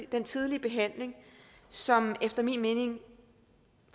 den tidlige behandling som efter min mening